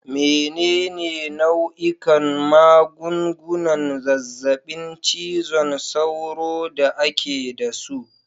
Menene nau'ikan magungunan zazzabin cizon sauro da ake da su?